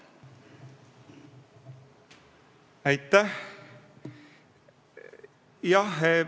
Aitäh!